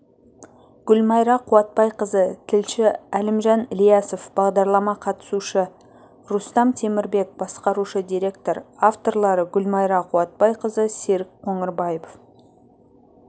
гүлмайра қуатбайқызы тілші әлімжан ілиясов бағдарламаға қатысушы рустам темірбек басқарушы директор авторлары гүлмайра қуатбайқызы серік қоңырбаев